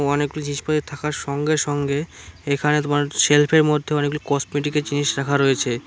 অনেকগুলি জিনিসপত্র থাকার সঙ্গে সঙ্গে এখানে তোমার সেলফের মধ্যে অনেকগুলি কসমেটিকের জিনিস রাখা রয়েছে।